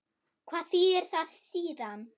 Hvað þýðir það síðan?